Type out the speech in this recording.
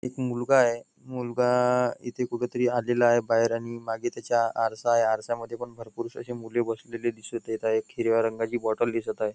एक मुलगा आहे मुलगा इथे कुठेतरी आलेला आहे बाहेर आणि मागे त्याच्या आरसा आहे आरशामध्ये पण भरपूर अशा मुले बसलेल्या दिसत आहे एक हिरव्या रंगाची बॉटल दिसत आहे.